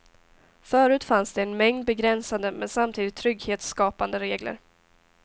Förut fanns det en mängd begränsande men samtidigt trygghetsskapande regler.